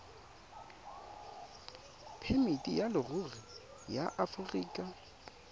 phemiti ya leruri ya aforika